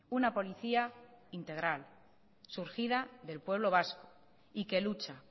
una policía integral surgida del pueblo vasco y que lucha